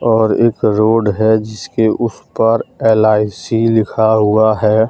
और एक रोड है जिसके उस पार एल_आई_सी लिखा हुआ है।